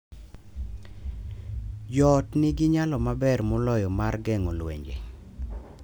Jo ot nigi nyalo maber moloyo mar geng’o lwenje